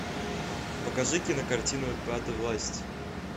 покажи кинокартину пятая власть